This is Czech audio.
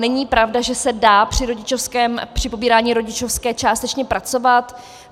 Není pravda, že se dá při pobírání rodičovské částečně pracovat.